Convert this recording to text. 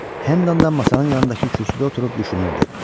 Henden masanın yanındakı kürsüdə oturub düşünürdü.